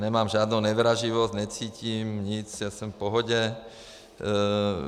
Nemám žádnou nevraživost, necítím nic, já jsem v pohodě.